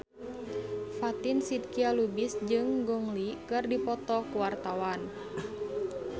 Fatin Shidqia Lubis jeung Gong Li keur dipoto ku wartawan